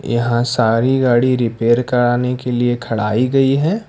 यहां सारी गाड़ी रिपेयर कराने के लिए खड़ाई गई हैं।